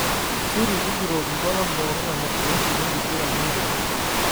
siri tujuto iltualan pooki lemasoesi enkiguran empira